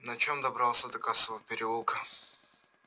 на чем добрался до косого переулка